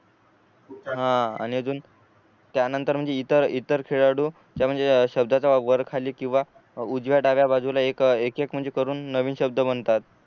हा आणि अजून त्यानंतर म्हणजे ईतर ईतर खेळाडूच्या म्हणजे शब्दाच्या वर खाली किंवा उजव्या डाव्या बाजूला एक एक म्हणजे करून नवीन शब्द बनतात